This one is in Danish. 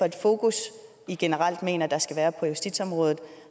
et fokus i generelt mener der skal være på justitsområdet og